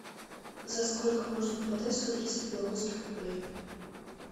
за сколько можно продать сто тридцать белорусских рублей